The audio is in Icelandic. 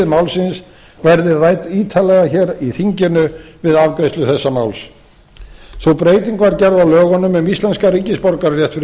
málsins verði rædd ítarlega hér í þinginu við afgreiðslu þessa máls sú breyting var gerð á lögunum um íslenskan ríkisborgararétt fyrir